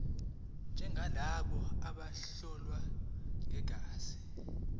njengalabo bobuhlobo begazi